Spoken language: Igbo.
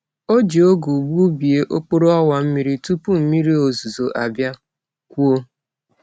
O ji ogu gbubie okporo owa mmiri tupu mmiri ozuzo abia kwuo.